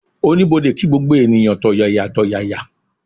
Oníbodè kí gbogbo ènìyàn tọ̀yàyàtọ̀yàyà